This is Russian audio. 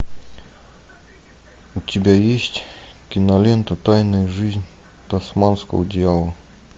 у тебя есть кинолента тайная жизнь тасманского дьявола